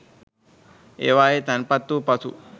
ඒවායේ තැන්පත් වූ පසු